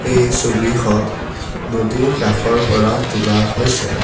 এই ছবিখন নদীৰ কাষৰ পৰা তোলা হৈছে।